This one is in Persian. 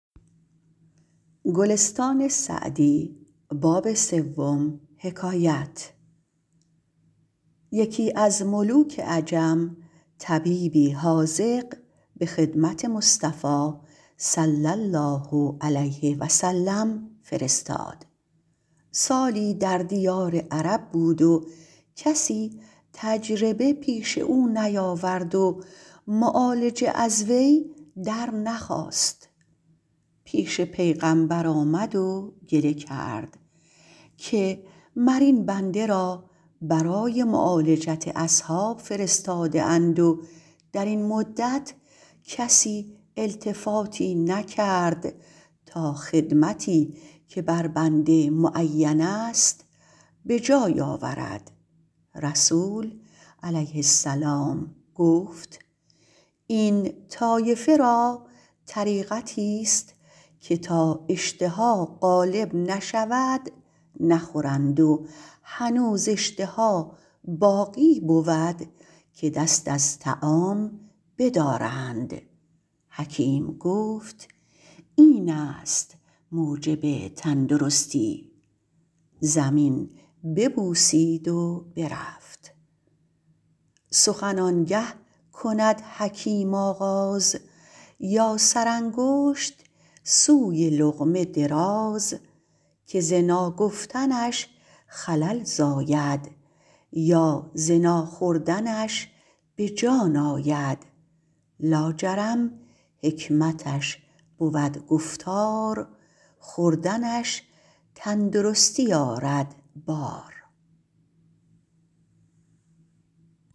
یکی از ملوک عجم طبیبی حاذق به خدمت مصطفی صلی الله علیه و سلم فرستاد سالی در دیار عرب بود و کسی تجربه پیش او نیاورد و معالجه از وی در نخواست پیش پیغمبر آمد و گله کرد که مر این بنده را برای معالجت اصحاب فرستاده اند و در این مدت کسی التفاتی نکرد تا خدمتی که بر بنده معین است به جای آورد رسول علیه السلام گفت این طایفه را طریقتی است که تا اشتها غالب نشود نخورند و هنوز اشتها باقی بود که دست از طعام بدارند حکیم گفت این است موجب تندرستی زمین ببوسید و برفت سخن آن گه کند حکیم آغاز یا سرانگشت سوی لقمه دراز که ز ناگفتنش خلل زاید یا ز ناخوردنش به جان آید لا جرم حکمتش بود گفتار خوردنش تندرستی آرد بار